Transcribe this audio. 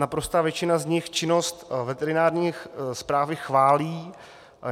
Naprostá většina z nich činnost veterinární správy chválí.